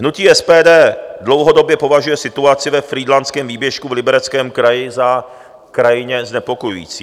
Hnutí SPD dlouhodobě považuje situaci ve Frýdlantském výběžku v Libereckém kraji za krajně znepokojující.